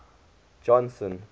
johnson